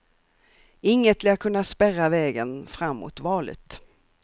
Inget lär kunna spärra vägen fram mot valet.